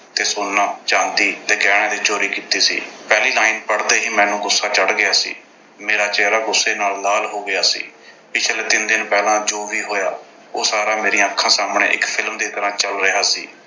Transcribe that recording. ਤੇ ਸੋਨਾ, ਚਾਂਦੀ ਤੇ ਗਹਿਣਿਆਂ ਦੀ ਚੋਰੀ ਕੀਤੀ ਸੀ। ਪਹਿਲੀ line ਪੜ੍ਹਦੇ ਹੀ ਮੈਨੂੰ ਗੁੱਸਾ ਚੜ੍ਹ ਗਿਆ ਸੀ। ਮੇਰਾ ਚਿਹਰਾ ਗੁੱਸੇ ਨਾਲ ਲਾਲ ਹੋ ਗਿਆ ਸੀ। ਪਿਛਲੇ ਤਿੰਨ ਦਿਨ ਪਹਿਲਾਂ ਜੋ ਵੀ ਹੋਇਆ ਉਹ ਸਾਰਾ ਮੇਰੀਆਂ ਅੱਖਾਂ ਸਾਹਮਣੇ ਇੱਕ film ਦੀ ਤਰ੍ਹਾਂ ਚੱਲ ਰਿਹਾ ਸੀ।